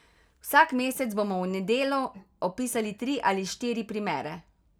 Vsak mesec bomo v Nedelu opisali tri ali štiri primere.